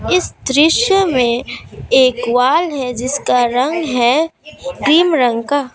इस दृश्य मे एक वॉल है जिसका रंग है क्रीम रंग का।